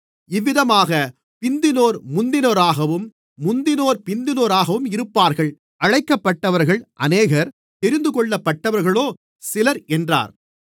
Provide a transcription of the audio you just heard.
இவ்விதமாக பிந்தினோர் முந்தினோராகவும் முந்தினோர் பிந்தினோராகவும் இருப்பார்கள் அழைக்கப்பட்டவர்கள் அநேகர் தெரிந்துகொள்ளப்பட்டவர்களோ சிலர் என்றார்